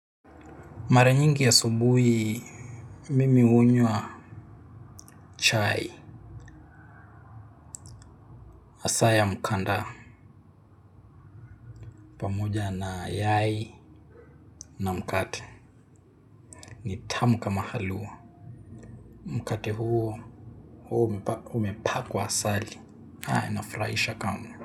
Mara nyingi asubuhi, mimi hunywa chai, hasa ya mkanda, pamoja na yai na mkate, ni tamu kama halua. Mkate huo, huwa umepakwa asali, inafurahisha kamwe.